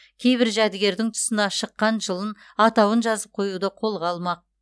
кейбір жәдігердің тұсына шыққан жылын атауын жазып қоюды қолға алмақ